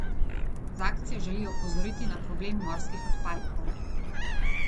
Z akcijo želijo opozoriti na problem morskih odpadkov.